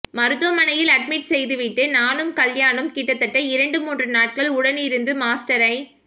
மருத்துவமனையில் அட்மிட் செய்துவிட்டு நானும் கல்யாணும் கிட்டத்தட்ட இரண்டு மூன்று நாட்கள் உடனிருந்து மாஸ்டரை